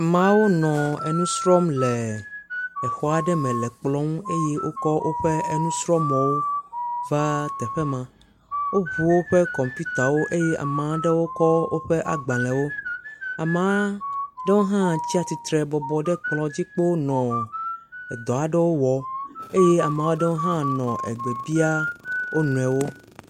Ameawo nɔ enu srɔ̃m le exɔ aɖe me le ekplɔ ŋu eye wokɔ woƒe enusrɔ̃mɔwo va teƒe ma. Woŋu wo ƒe kɔmpitawo eye amea ɖewo kɔ woƒe agbalewo. Amea ɖewo hã tsia tsitre bɔbɔnɔ ekplɔ dzi kpo nɔ edɔ aɖe wɔm eye ame aɖewo hã nɔ egbe bia wo nɔewo.